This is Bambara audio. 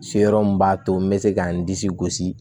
Se yɔrɔ min b'a to n be se ka n disi gosi